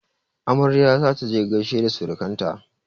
Amarya za ta je gaishe da surukan ta.